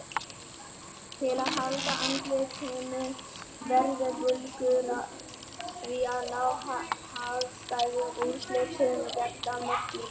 Til að halda andlitinu verða Búlgarar því að ná hagstæðum úrslitum gegn Danmörku í dag.